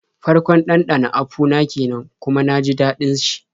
Farkon ɗanɗana apu na kenan kuma na ji daɗin shi.